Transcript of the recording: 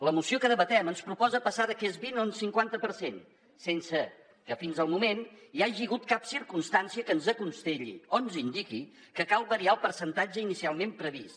la moció que debatem ens proposa passar d’aquest vint a un cinquanta per cent sense que fins al moment hi hagi hagut cap circumstància que ens aconselli o ens indiqui que cal variar el percentatge inicialment previst